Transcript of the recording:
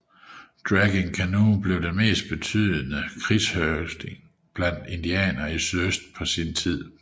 Dragging Canoe blev den mest betydende krigerhøvding blandt indianere i sydøst på sin tid